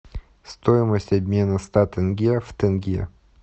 стоимость обмена ста тенге в тенге